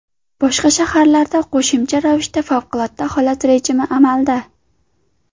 Boshqa shaharlarda qo‘shimcha ravishda favqulodda holat rejimi amalda.